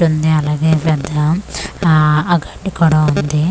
ఉంది అలాగే ఇదంతా ఆ గడ్డి కూడా ఉంది.